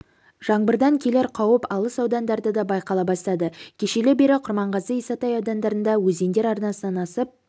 жаңбырдан келер қауіп алыс аудандарда да байқала бастады кешелі бері құрманғазы исатай аудандарында өзендер арнасынан асып